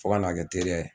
Fo ka n'a kɛ teri ye